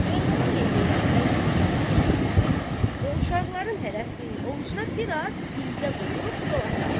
Kərbəlayı Heydər əlini uzatdı cibinə və uşaqların hərəsinin ovucuna bir az iydə qoyub yola saldı.